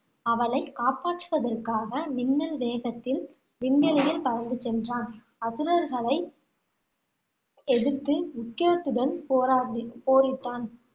அவளைக் காப்பாற்றுவதற்காக மின்னல் வேகத்தில் விண்வெளியில் பறந்து சென்றான். அசுரர்களை எதிர்த்து உக்கிரத்துடன் போராடி~ போரிட்டான்.